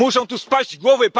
Muszą tu spaść głowy.